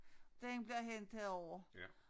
Den bliver hentet herover